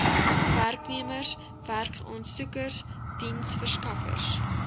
werknemers werksaansoekers diensverskaffers